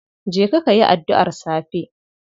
Je kayi adduar safe.